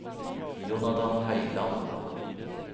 Jonathan Høyland